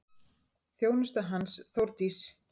Þjónusta hans, Þórdís